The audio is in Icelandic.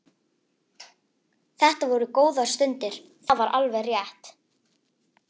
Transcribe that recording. Þetta voru góðar stundir, það var alveg rétt.